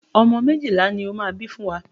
Ọmọ méjìlá ni ó máa bí fún wa.